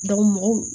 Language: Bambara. mɔgɔw